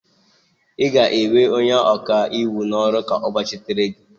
ị ga-ewe onye ọkaiwu n'ọrụ ka ọ gbachitere gị?